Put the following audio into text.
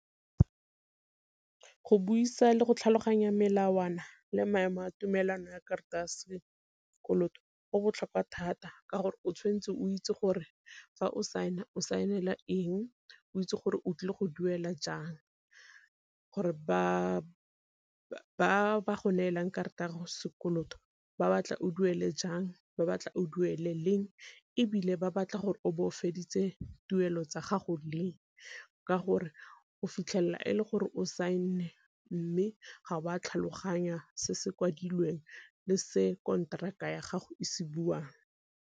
Go buisa le go tlhaloganya melawana le maemo a tumelano ya karata ya sekoloto go botlhokwa thata, ka gore o tshwanetse o itse gore fa o saena o saenela eng, o itse gore o tlile go duela jang gore ba go neelang karata ya sekoloto ba batla o duele jang, ba batla o duele leng ebile ba batla gore o bo o feditse tuelo tsa gago leng ka gore o fitlhela e le gore o saenne mme ga wa tlhaloganya se se kwadilweng le se konteraka ya gago e se buang.